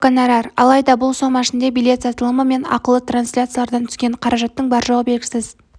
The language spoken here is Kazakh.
көп гонорар алайда бұл сома ішінде билет сатылымы мен ақылы трансляциялардан түскен қаражаттың бар-жоғы белгісіз